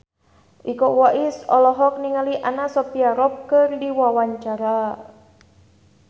Iko Uwais olohok ningali Anna Sophia Robb keur diwawancara